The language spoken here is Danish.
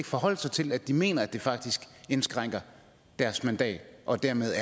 forholde sig til at de mener at det faktisk indskrænker deres mandat og dermed